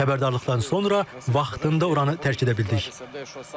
Xəbərdarlıqlardan sonra vaxtında oranı tərk edə bildik.